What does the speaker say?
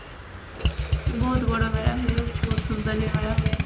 ବହୁତ ବଡମେଳା ହୁଏ ବହୁତ ସୁନ୍ଦର ମେଳା ହୁଏ